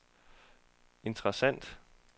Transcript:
interessant